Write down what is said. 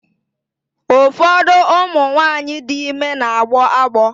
Ụfọdụ ụmụ nwaanyị dị ime na-agbọ agbọ.